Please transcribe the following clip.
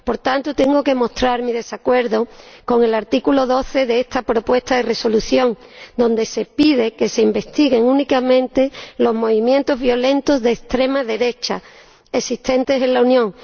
Por tanto, tengo que mostrar mi desacuerdo con el artículo 12 de esta propuesta de Resolución, en el que se pide que se investiguen únicamente los movimientos violentos de extrema derecha existentes en la Unión.